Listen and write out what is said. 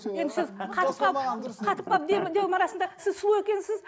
енді сіз қатып қалып қатып қалып дем арасында сіз суық екенсіз